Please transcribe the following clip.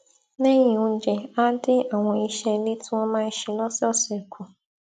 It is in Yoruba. léyìn oúnjẹ á dín àwọn iṣé ilé tí wón máa ń ṣe lósòòsè kù